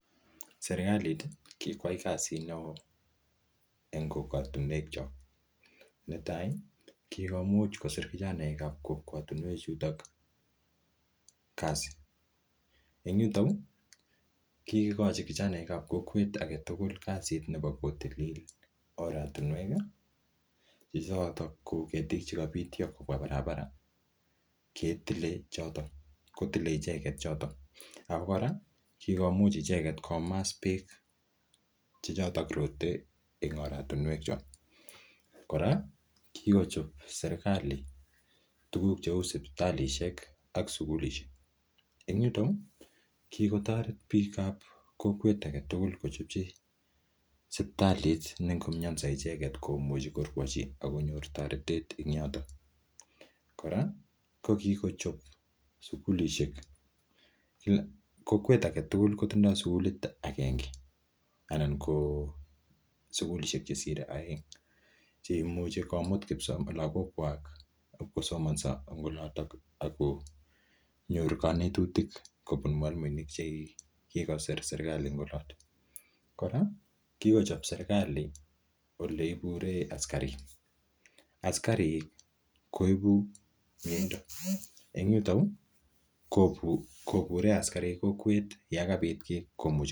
Serklait ii kikwai kasit neo en kokwotinwekyok. Netai: kigomuch kosir kijnaekab kokwotinwechuto kasit. En yuton kigochin kjanaek ab kokwet age tugul kasit nebo kotilil oratinwek, che hcoto ko kietik ch ekobityo kobwa barabara kotile choto. Ago kora kigomuch icheket komas beek che choto roten en oratinwekyok. Kora kigochob serkalit tuguk cheu: sipitalishek ak sugulishek, enyuto kigotoret biikab kokwet agetugul kochopchi sipitalit ne ngomianso icheget komuchi korwochi ak konyo toretet en yoto. Kora kogickochob sugulishek. Kokwet age tugul kotindo sugulit agenge anan ko sugulishek chesire oeng ch eimuche komut kipsomaninikwak ibkosomonso en oloto ak konyor kanetutik kobun mwalimuek che kigosir serkalit en oloto. Kora kigochob serkalit ole iburenn askarik. Askarik koibu miendo, en yuto yu kobure asikarik en kokwet yan kabit kiy...